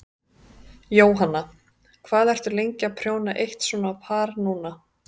Jóhanna: Hvað ertu lengi að prjóna eitt svona par núna?